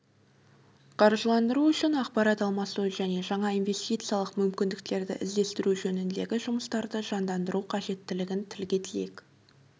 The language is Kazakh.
қаржыландыру үшін ақпарат алмасу және жаңа инвестициялық мүмкіндіктерді іздестіру жөніндегі жұмыстарды жандандыру қажеттігін тілге тиек